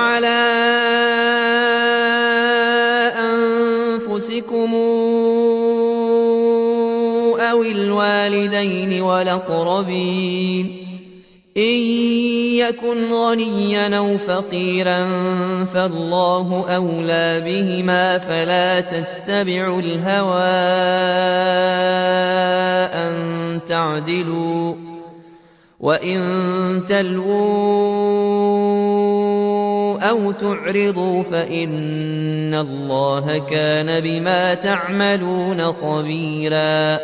عَلَىٰ أَنفُسِكُمْ أَوِ الْوَالِدَيْنِ وَالْأَقْرَبِينَ ۚ إِن يَكُنْ غَنِيًّا أَوْ فَقِيرًا فَاللَّهُ أَوْلَىٰ بِهِمَا ۖ فَلَا تَتَّبِعُوا الْهَوَىٰ أَن تَعْدِلُوا ۚ وَإِن تَلْوُوا أَوْ تُعْرِضُوا فَإِنَّ اللَّهَ كَانَ بِمَا تَعْمَلُونَ خَبِيرًا